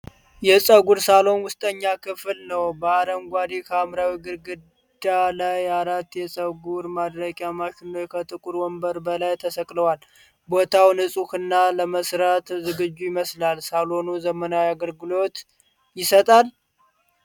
የፀጉር ሳሎን ውስጠኛ ክፍል ነው። በአረንጓዴ-ሐምራዊ ግድግዳ ላይ አራት የፀጉር ማድረቂያ ማሽኖች ከጥቁር ወንበሮች በላይ ተሰቅለዋል። ቦታው ንፁህና ለመሥራት ዝግጁ ይመስላል። ሳሎኑ ዘመናዊ አገልግሎት ይሰጣል?